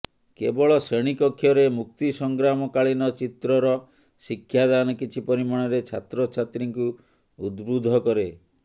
କେବଳ ଶ୍ରେଣୀକକ୍ଷରେ ମୁକ୍ତି ସଂଗ୍ରାମକାଳୀନ ଚିତ୍ରର ଶିକ୍ଷାଦାନ କିଛି ପରିମାଣରେ ଛାତ୍ରଛାତ୍ରୀଙ୍କୁ ଉଦ୍ବୁଦ୍ଧ କରେ